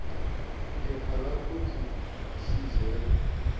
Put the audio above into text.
phepha lakho sizelwa